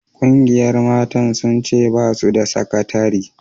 Ƙungiyar mata sun ce ba su da sakatari